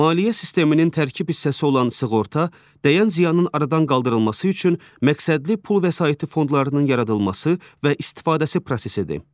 Maliyyə sisteminin tərkib hissəsi olan sığorta, dəyən ziyanın aradan qaldırılması üçün məqsədli pul vəsaiti fondlarının yaradılması və istifadəsi prosesidir.